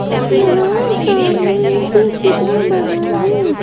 यहां सामने एक चित्र बना है.